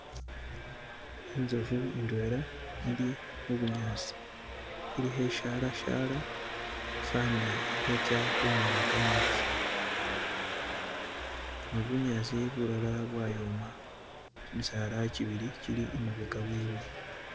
Inzofu Indwela ili mubunyasi ili khe sharashara fana khetsa khunywa kametsi ,?no bunyasi bulala bwayoma, kimisala kibili kili imabeka wewe.